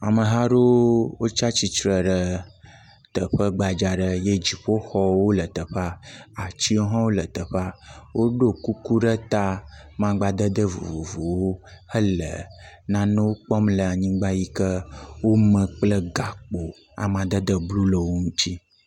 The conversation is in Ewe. Ameha aɖewo tsi atsitre ɖe teƒe gbadza aɖe eye dziƒoxɔwo le teƒe, atiwo hã le teƒe, woɖo kuku ɖe ta maŋgbadede vovovowo le teƒea helenane kpɔm le anyigba si wome kple gakpo, amadede blu le wo ŋuti.